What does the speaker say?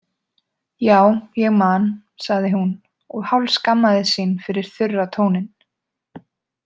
Já, ég man, sagði hún og hálfskammaðist sín fyrir þurra tóninn.